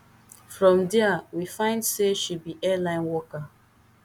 from dia we find say she be airline worker